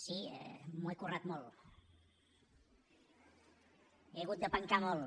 sí m’ho he currat molt he hagut de pencar molt